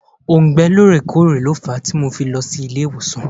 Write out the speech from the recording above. Òùngbẹ lóòrè kóòrè lo fàá tí mo fi lọ sí ilé ìwòsàn.